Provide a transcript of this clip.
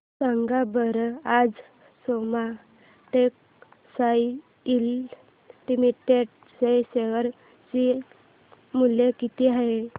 सांगा बरं आज सोमा टेक्सटाइल लिमिटेड चे शेअर चे मूल्य किती आहे